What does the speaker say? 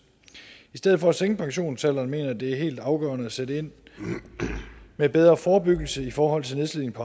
i stedet for at sænke pensionsalderen mener jeg det er helt afgørende at sætte ind med bedre forebyggelse i forhold til nedslidning